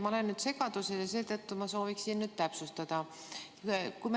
Ma olen segaduses ja seetõttu soovin täpsustada.